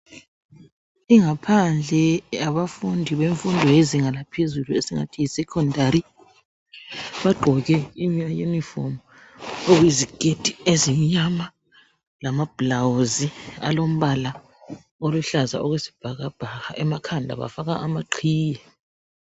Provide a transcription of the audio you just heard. Ingaphandle yabafundi bemfundo yezinga laphezulu esingathi yi secondary bagqoke ama uniform okuyiziketi ezimnyama lama blouse alombala oluhlaza okwesibhakabhaka emakhanda bafaka amaqhiye.